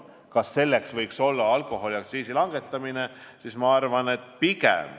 Kas selleks võiks olla alkoholiaktsiisi langetamine?